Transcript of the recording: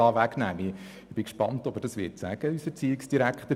Ich bin gespannt darauf, ob er das sagen wird.